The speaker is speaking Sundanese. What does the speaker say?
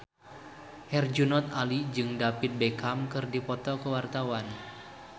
Herjunot Ali jeung David Beckham keur dipoto ku wartawan